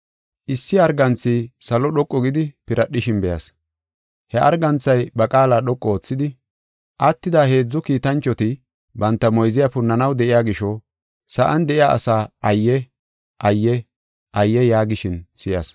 Issi arganthi salo dhoqu gidi, piradhishin be7as. He arganthay ba qaala dhoqu oothidi, “Attida heedzu kiitanchoti banta moyziya punnanaw de7iya gisho, sa7an de7iya asaa ayye! Ayye! Ayye!” yaagishin si7as.